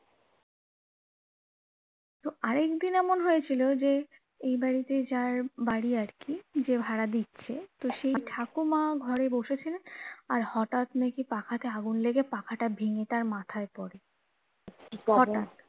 আরেক দিন এমন হয়েছিল যে এই বাড়ি তে যার বাড়ি আর কি যে ভাড়া দিচ্ছে তো সেই ঠাকুমা ঘরে বসেছিল আর হটাৎ নাকি পাখা তে আগুন লেগে পাখা টা ভেঙে তার মাথায় পড়ে